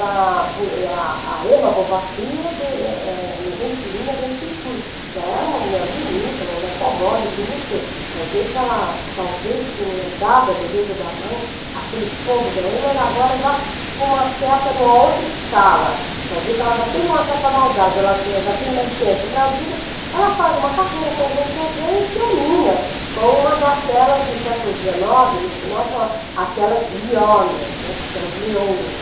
A Bo a a Emma Bovary, de eh eh nas entrelinhas, a gente intui que ela era uma mulher bonita, uma mulher fogosa, eu digo, não sei, vai ver que ela talvez tenha herdado a beleza da mãe, aquele fogo da mãe, mas agora já com uma certa, em uma outra escala, vai ver que ela já tem uma certa maldade, ela já tem mais senso para a vida, ela faz uma carreira como cortesã e termina com uma daquelas, no século dezenove, no final, chamada aquelas leonas, aquelas leoas,